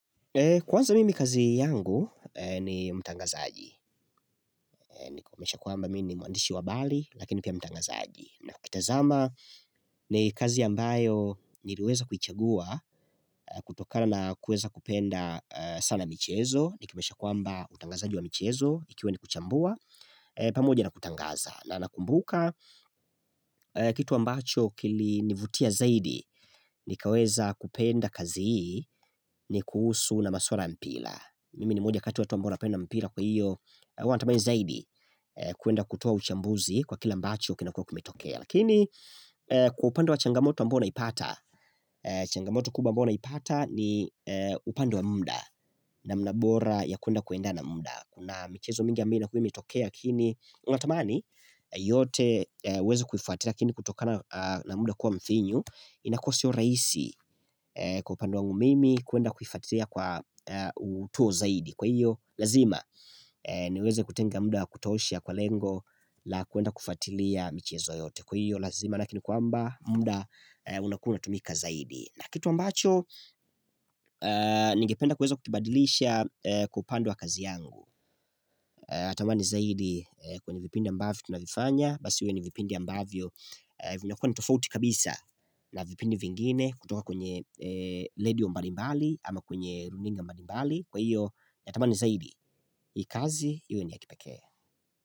Kwanza mimi kazi yangu ni mtangazaji, ni kumaanisha kuamba mi ni mwandishi wa habari lakini pia mtangazaji. Na ukitazama ni kazi ambayo niliweza kuichagua kutokana na kuweza kupenda sana michezo. Ikimaanisha kwamba utangazaji wa michezo ikiwa ni kuchambua, pamoja na kutangaza, na nakumbuka kitu ambacho kilinivutia zaidi, nikaweza kupenda kazi hii ni kuhusu na maswala mpira Mimi ni moja kati ya watu ambao wanapenda mpira kwa iyo huwa natamani zaidi kwenda kutoa uchambuzi kwa kila ambacho kinakuwa kimetokea. Lakini kwa upande wa changamoto ambayo naipata changamoto kubwa ambayo naipata ni upande wa muda namna bora ya kwenda kuendana na munda, na michezo mingi ambayo inakuwa imetokea lakini unatamani yote uweze kuifuatilia lakini kutokana na muda kuwa mfinyu inakuwa sio rahisi kwa upande wangu mimi kwenda kufuatilia kwa utuo zaidi, kwa hiyo lazima niweze kutenga muda kutosha kwa lengo la kwenda kufuatilia michiezo yote. Kwa hiyo lazima maana yeke ni kwamba muda unakuwa unatumika zaidi, na kitu ambacho ningependa kuweza kukibadilisha kwa upande kazi yangu Natamani zaidi kwenye vipindi ambavyo tunavifanya Basi viwe ni vipindi ambavyo vinakua ni tofouti kabisa na vipindi vingine kutoka kwenye redio mbalimbali ama kwenye runinga mbalimbali Kwa iyo, natamani zaidi hii kazi, iwe ya kipekee.